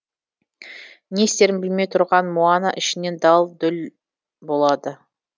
не істерін білмей тұрған моана ішінен дал дұл болады